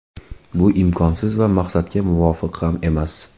Bu imkonsiz va maqsadga muvofiq ham emas.